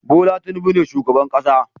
Bola Tinubu ne shugaban ƙasa